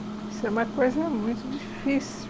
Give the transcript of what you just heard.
Isso é uma coisa muito difícil.